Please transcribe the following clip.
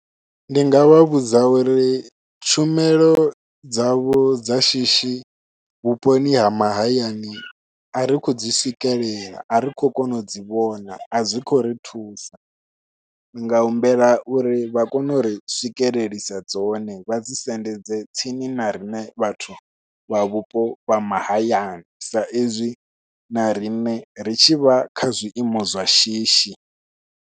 Ndi nga vha vhudza uri tshumelo dzavho dza shishi vhuponi ha mahayani a ri khou dzi swikelela a ri khou kona u dzi vhona a dzi khou ri thusa ndi nga humbela uri vha kone u ri swikelelisa dzone vha dzi sendedze tsini na riṋe vhathu vha vhupo vha mahayani sa ezwi na riṋe ri tshi vha kha zwiimo zwa shishi.